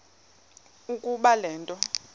ukuba le nto